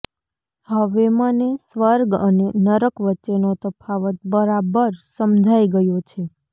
હવે મને સ્વર્ગ અને નરક વચ્ચેનો તફાવત બરાબર સમજાઇ ગયો છે